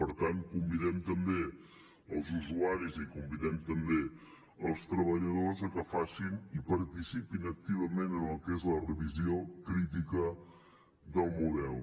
per tant convidem també els usuaris i convidem també els treballadors a que facin i participin activament en el que és la revisió crítica del model